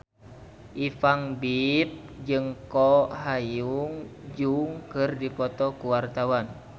Ipank BIP jeung Ko Hyun Jung keur dipoto ku wartawan